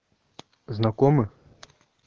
знакомы